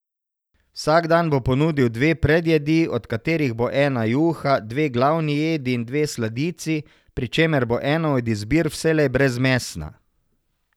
Vsak dan bo ponudil dve predjedi, od katerih bo ena juha, dve glavni jedi in dve sladici, pri čemer bo ena od izbir vselej brezmesna.